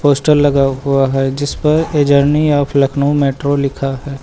Poster लगा हुआ है जिस पर a journey of Lucknow metro लिखा है।